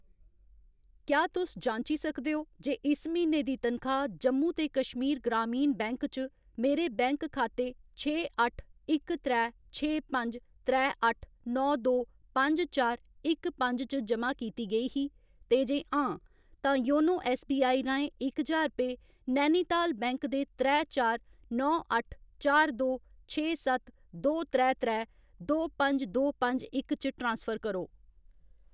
क्या तुस जांची सकदे ओ जे इस म्हीने दी तनखाह्‌‌ जम्मू ते कश्मीर ग्रामीण बैंक च मेरे बैंक खाते छे अट्ठ इक त्रै छे पंज त्रै अट्ठ नौ दो पंज चार इक पंज च जमा कीती गेई ही, ते जे हां, तां योनो ऐस्सबीआई राहें इक ज्हार रपेऽ नैनीताल बैंक दे त्रै चार नौ अट्ठ चार दो छे सत्त दो त्रै त्रै दो पंज दो पंज इक च ट्रांसफर करो।